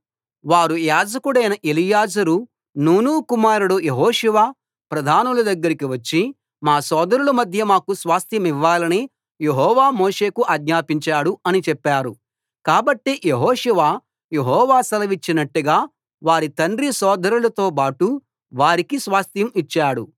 వారు యాజకుడైన ఎలియాజరు నూను కుమారుడు యెహోషువ ప్రధానుల దగ్గరికి వచ్చి మా సోదరుల మధ్య మాకు స్వాస్థ్యమివ్వాలని యెహోవా మోషేకు ఆజ్ఞాపించాడు అని చెప్పారు కాబట్టి యెహోషువ యెహోవా సెలవిచ్చినట్టుగా వారి తండ్రి సోదరులతో బాటు వారికి స్వాస్థ్యం ఇచ్చాడు